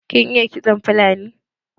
Kin iya kiston fulani?